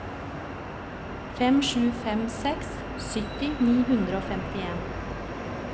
fem sju fem seks sytti ni hundre og femtien